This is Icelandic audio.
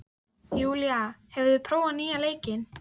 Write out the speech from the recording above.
Júlía, hefur þú prófað nýja leikinn?